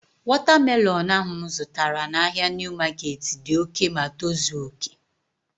Wọta melọnu ahu mụ zụtara n'ahia Niu maketi dị oké ma tozuo oké